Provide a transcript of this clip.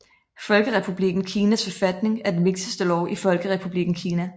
Folkerepublikken Kinas forfatning er den vigtigste lov i Folkerepublikken Kina